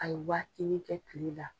A ye waatini kɛ Kile la.